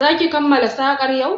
Za ki kammala sakar yau?